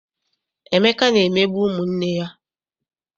Emeka na-emegbu ụmụ nne ya.